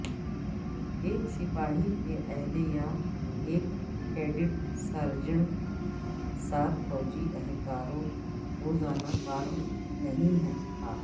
ایک سپاہی کے عہدے یا ایک کیڈٹ سارجنٹ ساتھ فوجی اہلکاروں روزانہ فارم نہیں تھا